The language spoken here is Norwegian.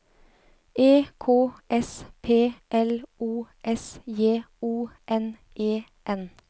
E K S P L O S J O N E N